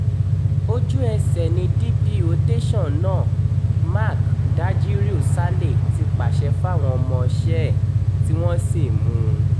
ojú-ẹsẹ̀ ni dp tẹ̀sán náà mark dajíríù saleh ti pàṣẹ fáwọn ọmọọṣẹ́ ẹ̀ tí wọ́n sì mú un